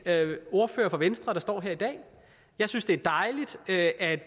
ordfører for venstre der står her i dag jeg synes det er dejligt at